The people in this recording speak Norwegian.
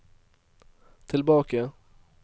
tilbake